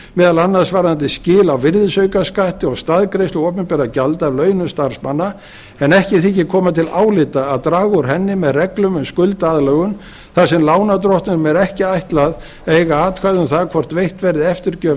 meðal annars varðandi skil á virðisaukaskatti og staðgreiðslu opinberra gjalda af launum starfsmanna en ekki þykir koma til álita að draga úr henni með reglum um skuldaaðlögun þar sem lánardrottnum er ekki ætlað að eiga atkvæði um það hvort veitt verði eftirgjöf